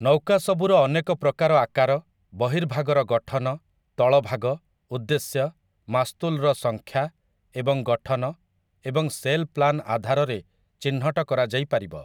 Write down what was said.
ନୌକା ସବୁର ଅନେକ ପ୍ରକାର ଆକାର, ବର୍ହିଭାଗର ଗଠନ, ତଳଭାଗ, ଉଦ୍ଦେଶ୍ୟ, ମାସ୍ତୁଲ୍‌ର ସଂଖ୍ୟା ଏବଂ ଗଠନ ଏବଂ ସେଲ୍ ପ୍ଲାନ ଆଧାରରେ ଚିହ୍ନଟ କରାଯାଇପାରିବ ।